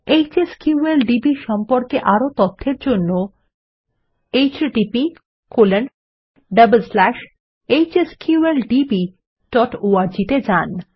HSQLDB সম্পর্কে আরও তথ্যের জন্য httphsqldborg তে যান